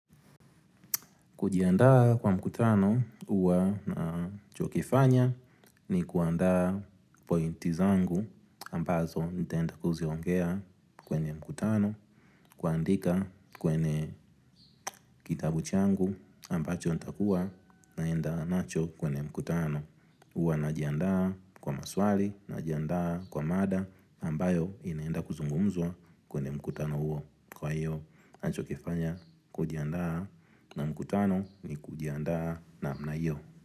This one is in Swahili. Kujiandaa kwa mkutano huwa nachokifanya ni kuandaa pointi zangu ambazo nitaenda kuziongea kwenye mkutano. Huandika kwenye kitabu changu ambacho nitakuwa naenda nacho kwenye mkutano huwa najiandaa kwa maswali najiandaa kwa mada ambayo inaenda kuzungumzwa kwenye mkutano uwa kwa hiyo. Ninacho kifanya kujiandaa na mkutano ni kujiandaa namna hio.